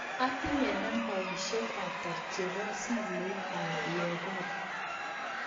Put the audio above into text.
Atinye nambaisyek ata chebo simoit ab Yegon